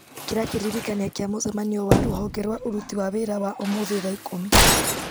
ĩkĩra kĩririkania kĩa mũcemanio wa rũhonge rwa ũruti wa wĩra wa ũmũthĩ thaa ikũmi